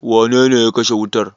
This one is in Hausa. Wane ne ya kashe wuta?